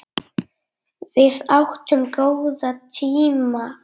Við áttum góða tíma saman